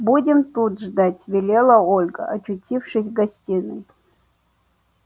будем тут ждать велела ольга очутившись в гостиной